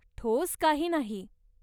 ठोस काही नाही.